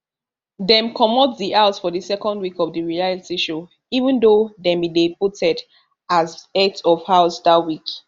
dem comot di house for di second week of di reality show even though dem bin dey voted as heads of house dat week